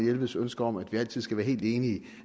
jelveds ønske om at vi altid skal være helt enige